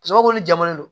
Sababu jamanlen don